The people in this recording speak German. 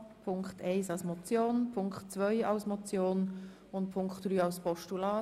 In diesem Sinn beantragt der Regierungsrat ein Postulat.